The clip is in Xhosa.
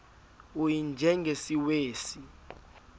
u y njengesiwezi